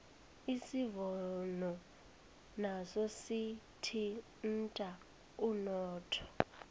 isivuno naso sithinta umnotho